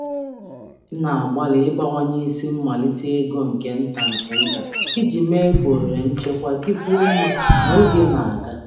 M na-agbalị ịbawanye isi um mmalite ego nke nta nke nta um iji mee ka um ohere nchekwa dịkwuo mma ka oge na-aga.